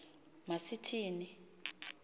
ma sithi ni